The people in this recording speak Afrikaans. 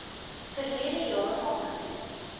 verlede jaar aangebied